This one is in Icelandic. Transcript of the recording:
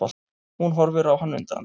Hún horfir á hann undrandi.